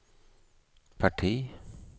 parti